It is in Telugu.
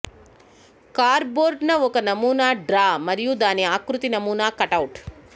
కార్డ్బోర్డ్ న ఒక నమూనా డ్రా మరియు దాని ఆకృతి నమూనా కటౌట్